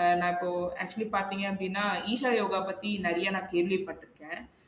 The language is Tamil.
அஹ் நா இப்போ actually பாத்தீங்க அப்டினா ஈகா யோகா பத்தி நெறயா நா கேள்விபட்ருக்கன்